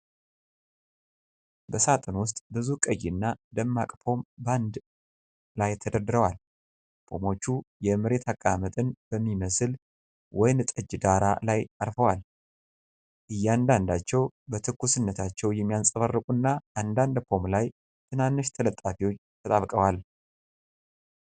በሳጥን ውስጥ ብዙ ቀይና ደማቅ ፖም በአንድ ላይ ተደርድሯል። ፖሞቹ የመሬት አቀማመጥን በሚመስል ወይን ጠጅ ዳራ ላይ አርፈዋል። እያንዳንዳቸው በትኩስነታቸው የሚያንጸባርቁ እና፣ አንዳንድ ፖም ላይ ትናንሽ ተለጣፊዎች ተጣብቀዋል።